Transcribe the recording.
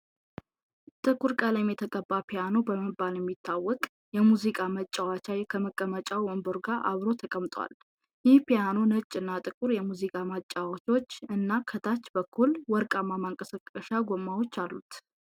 ጥቁር ቀለም የተቀባ ፒያኖ በመባል የሚታወቅ የሙዚቃ መጫወቻ ከመቀመጫ ወንበሩ ጋር አብሮ ተቀምጧል። ይህ ፒያኖ ነጭ እና ጥቁር የሙዚቃ ማጫዎቻዎች እና ከታች በኩል ወርቃማ ማንቀሳቀሻ ጎማዎች አሉት።